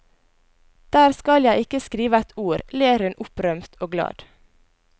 Der skal jeg ikke skrive et ord, ler hun opprømt og glad.